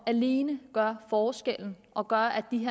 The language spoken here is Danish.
alene gøre forskellen og gøre at de